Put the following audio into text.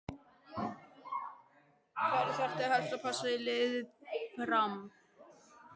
Hverja þarftu helst að passa í liði Fram?